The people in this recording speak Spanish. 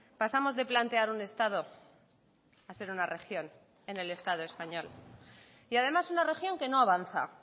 pasamos de plantear un estado a ser una región en el estado español y además una región que no avanza